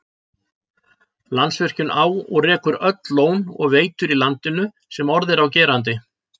Landsvirkjun á og rekur öll lón og veitur í landinu sem orð er á gerandi.